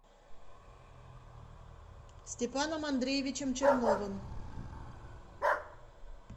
степаном андреевичем черновым